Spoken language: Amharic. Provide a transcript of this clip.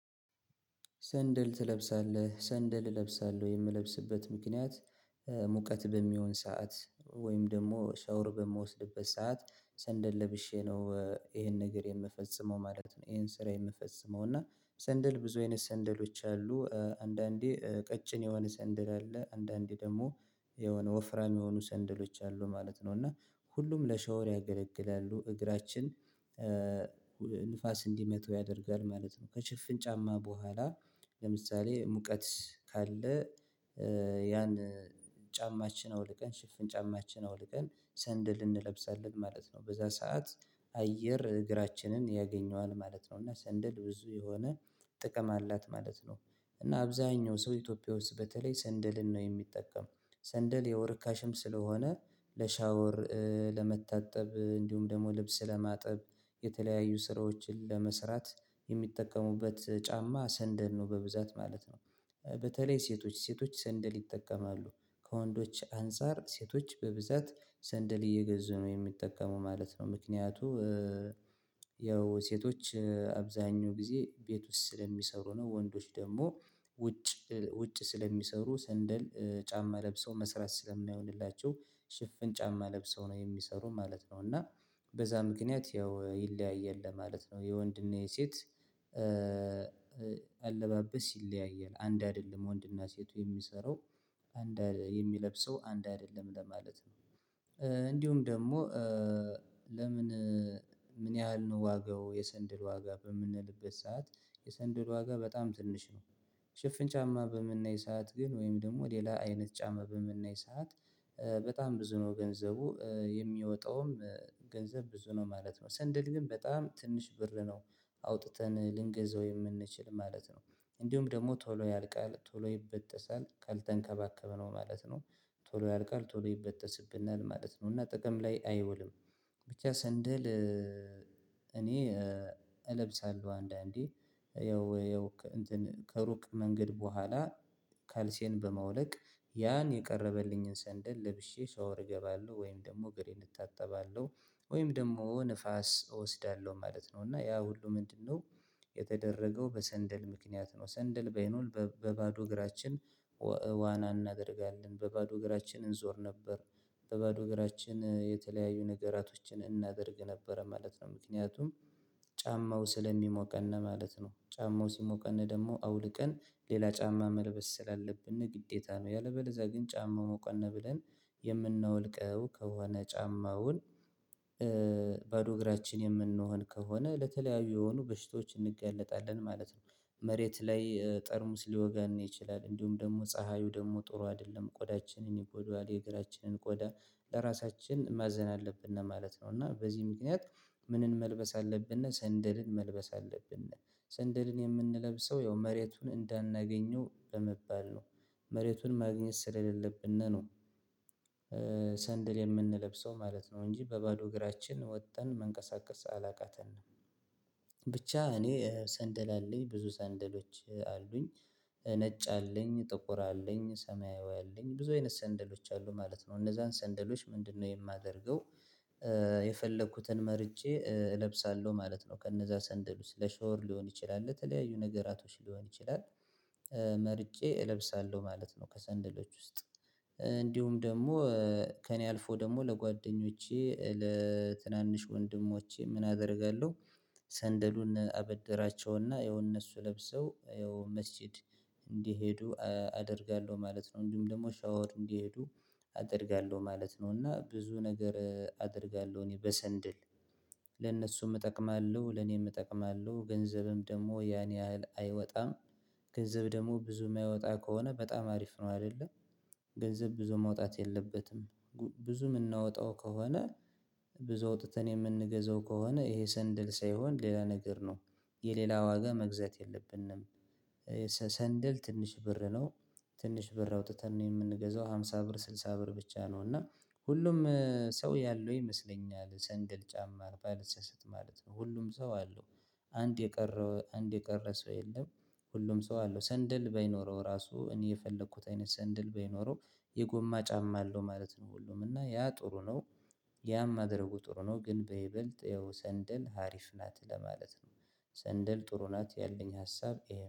ሰንደል ትለብሳለህ ሰንደል እለብሳለሁ የምለብስበት ምክንያት ሙቀት በሚሆን ሰዓት ወይም ደግሞ ሻውር በምወስድበት ሰዓት ሰንደል ለብሼ ነው ይሄን ነገር የምፈጽመው ማለት ነው። ይሄን ስራ የምፈጽመው እና ሰንደል ብዙ አይነት ሰንደሎች አሉ። አንዳንዴ ቀጭን የሆነ ሰንደል አለ አንዳንዴ ደግሞ የሆነ ወፍራም የሆኑ ሰንደሎች አሉ ማለት ነው። እና ሁሉም ለሻወር ያገለግላሉ እግራችን ንፋስ እንዲመታው ያደርጋል ማለት ነው። ከሽፍን ጫማ በኋላ ለምሳሌ ሙቀት ካለ። ያን ጫማችን አውልቀን ሽፍን ጫማችን አውልቀን ሰንደል እንለብሳለን ማለት ነው። በዛ ሰዓት አየር እግራችንን ያገኘዋል ማለት ነው። እና ሰንደል ብዙ የሆነ ጥቅም አላት ማለት ነው። እና አብዛኛው ሰው ኢትዮጵያ ውስጥ በተለይ ሰንደልን ነው የሚጠቀም። ሰንደል ያው ርካሽም ስለሆነ ለሻወር ለመታጠብ እንዲሁም ደግሞ ልብስ ለማጠብ የተለያዩ ስራዎችን ለመስራት የሚጠቀሙበት ጫማ ሰንደል ነው በብዛት ማለት ነው። በተለይ ሴቶች ሴቶች ሰንደል ይጠቀማሉ ከወንዶች አንፃር ሴቶች በብዛት ሰንደል እየገዘዙ ነው የሚጠቀሙ ማለት ነው። ምክንያቱ ያው ሴቶች አብዛኛው ጊዜ ቤት ውስጥ ስለሚሰሩ ነው። ወንዶች ደግሞ ውጭ ውጭ ስለሚሰሩ ሰንደል ጫማ ለብሰው መስራት ስለማይሆንላቸው ሽፍን ጫማ ለብሰው ነው የሚሰሩ ማለት ነው። እና በዛ ምክንያት ያው ይለያያል ለማለት ነው። የወንድና የሴት አለባበስ ይለያያል አንድ አይደለም ወንድና ሴቱ የሚሰራው አንድ የሚለብሰው አንድ አይደለም ለማለት ነው። እንዲሁም ደግሞ ለምን? ምን ያህል ነው ዋጋው የሰንድል ዋጋ በምንልበት ሰዓት የሰንደል ዋጋ በጣም ትንሽ ነው። ሽፍን ጫማ በምናይ ሰዓት ግን ወይም ደግሞ ሌላ አይነት ጫማ በምናይ ሰዓት በጣም ብዙ ነው ገንዘቡ የሚወጣውም። ገንዘብ ብዙ ነው ማለት ነው። ስንድል ግን በጣም ትንሽ ብር ነው። አውጥተን ልንገዛው የምንችል ማለት ነው። እንዲሁም ደግሞ ቶሎ ያልቃል ቶሎ ይበጠሳል ካልተንከባከብነው ማለት ነው። ቶሎ ያልቃል ቶሎ ይበጠስብናል ማለት ነው። እና ጥቅም ላይ አይውልም። ብቻ ሰንደል። እኔ እለብሳለሁ አንዳንዴ ያው ያው ከሩቅ መንገድ በኋላ ካልሲዬን በማውለቅ ያን የቀረበልኝን ሰንደል ለብሼ ሰው እርገባለሁ ወይም ደግሞ እግሬን እንታጠባለሁ ወይም ደግሞ ንፋስ እወስዳለሁ ማለት ነው። እና ያ ሁሉ ምንድነው? የተደረገው በሰንደል ምክንያት ነው። ሰንደል ባይኖር በባዶ እግራችን ዋና እናደርጋለን በባዶ እግራችን እንዞር ነበር። በባዶ እግራችን የተለያዩ ነገራቶችን እናደርግ ነበረ ማለት ነው። ምክንያቱም ጫማው ስለሚሞቀን ማለት ነው። ጫማው ሲሞቀን ደግሞ አውልቀን ሌላ ጫማ መልበስ ስላለብን ግዴታ ነው። ያለበለዚያ ግን ጫማው ሞቀን ብለን የምናወልቀው ከሆነ ጫማውን ባዶ እግራችን የምንሆን ከሆነ ለተለያዩ የሆኑ በሽቶች እንጋለጣለን ማለት ነው። መሬት ላይ ጠርሙስ ሊወጋን ይችላል። እንዲሁም ደግሞ ፀሀዩ ደግሞ ጥሩ አይደለም ቆዳችንን ይጎዳዋል የእግራችንን ቆዳ። ለራሳችን ማዘን አለብን ማለት ነው። እና በዚህ ምክንያት ምንን መልበስ አለብን ሰንደልን መልበስ አለብን። ሰንደልን የምንለብሰው ያው መሬቱን እንዳናገኘው በመባል ነው። መሬቱን ማግኘት ስለሌለብን ነው። ሰንደል የምንለብሰው ማለት ነው እንጂ በባዶ እግራችን ወጥተን መንቀሳቀስ አላቃተንም። ብቻ እኔ ሰንደል አለኝ ብዙ ሰንደሎች አሉኝ። ነጭ አለኝ ጥቁር አለኝ ሰማያዊ አለኝ ብዙ አይነት ሰንደሎች አሉ ማለት ነው። እነዛን ሰንደሎች ምንድነው የማደርገው? የፈለኩትን መርጬ እለብሳለሁ ማለት ነው። ከነዛ ሰንደል ውስጥ ለሻውር ሊሆን ይችላል ለተለያዩ ነገራቶች ሊሆን ይችላል። መርጬ እለብሳለሁ ማለት ነው። ከሰንደሎች ውስጥ እንዲሁም ደግሞ ከእኔ አልፎ ደግሞ ለጓደኞቼ ለትናንሽ ወንድሞቼ ምን አደርጋለሁ? ሰንደሉን አበደራቸውና ያው እነሱ ለብሰው ያው መስጊድ እንዲሄዱ አደርጋለሁ ማለት ነው። እንዲሁም ደግሞ ሻወር እንዲሄዱ አደርጋለሁ ማለት ነው። እና ብዙ ነገር አደርጋለሁ። እኔ በሰንድል ለእነሱም እጠቅማለሁ ለኔም እጠቅማለሁ ገንዘብም ደግሞ ያን ያህል አይወጣም። ገንዘብ ደግሞ ብዙ የማይወጣ ከሆነ በጣም አሪፍ ነው። አይደለ? ገንዘብ ብዙ መውጣት የለበትም። ብዙ የምናወጣው ከሆነ ብዙ አውጥተን የምንገዛው ከሆነ ይሄ ሰንደል ሳይሆን ሌላ ነገር ነው። የሌላ ዋጋ መግዛት የለብንም። ሰንደል ትንሽ ብር ነው። ትንሽ ብር አውጥተን ነው የምንገዛው አምሳ ብር ስድሳ ብር ብቻ ነው። እና ሁሉም ሰው ያለው ይመስለኛል ሰንደል ጫማ ባልሳሳት ማለት ነው። ሁሉም ሰው አለው። አንድ የቀረ አንድ የቀረ ሰው የለም። ሁሉም ሰው አለው ሰንደል ባይኖረው እራሱ እኔ የፈለኩት አይነት ሰንደል ባይኖረው የጎማ ጫማ አለው ማለት ነው። ሁሉም እና ያ ጥሩ ነው። ያም ማድረጉ ጥሩ ነው ግን በይበልጥ ያው ሰንደል ሀሪፍ ናት ለማለት ነው። ሰንደል ጥሩ ናት ያለኝ ሀሳብ